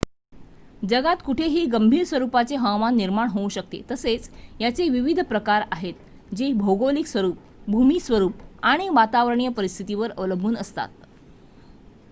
जगात कुठेही गंभीर स्वरूपाचे हवामान निर्माण होऊ शकते तसेच याचे विविध प्रकार आहेत जे भौगोलिक स्वरूप भूमिस्वरूप आणि वातावरणीय परिस्थितीवर अवलंबून असतात